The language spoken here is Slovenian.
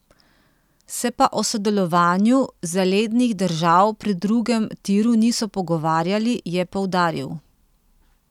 Se pa o sodelovanju zalednih držav pri drugem tiru niso pogovarjali, je poudaril.